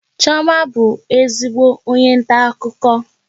Chioma bụ ezigbo onye nta akụkọ